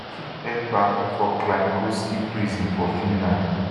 dem keep ekpa for kylmkoski prison for finland